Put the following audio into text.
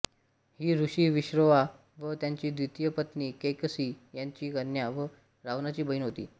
ही ऋषी विश्रवा व त्याची द्वितीय पत्नी कैकसी यांची कन्या व रावणाची बहीण होती